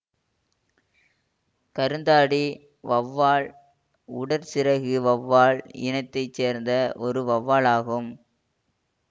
கருந்தாடி வௌவால் உடற்சிறகு வௌவால் இனத்தை சேர்ந்த ஒரு வௌவால் ஆகும்